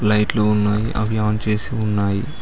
లైట్లు ఉన్నాయి అవి ఆన్ చేసి ఉన్నాయి.